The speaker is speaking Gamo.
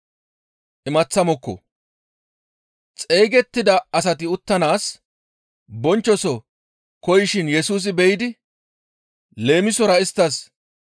Xeygettida asati uttanaas bonchchoso koyishin Yesusi be7idi leemisora isttas,